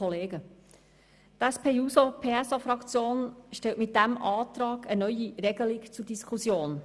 Die SP-JUSO-PSA-Fraktion stellt mit diesem Antrag eine neue Regelung zur Diskussion.